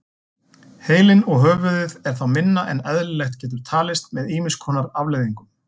Heilinn og höfuðið er þá minna en eðlilegt getur talist með ýmis konar afleiðingum.